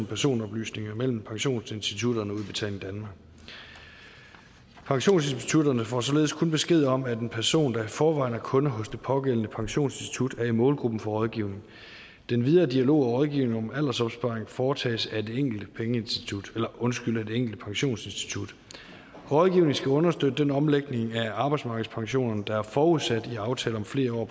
personoplysninger mellem pensionsinstitutterne og udbetaling danmark pensionsinstitutterne får således kun besked om at en person der i forvejen er kunde hos pågældende pensionsinstitut er i målgruppen for rådgivning den videre dialog og rådgivning om aldersopsparing foretages af det enkelte pensionsinstitut rådgivningen skal understøtte den omlægning af arbejdsmarkedspensionerne der er forudsat i aftalen om flere år